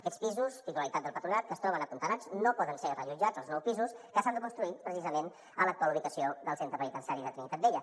aquests pisos titularitat del patronat que es troben apuntalats no poden ser reallotjats als nous pisos que s’han de construir precisament a l’actual ubicació del centre penitenciari de trinitat vella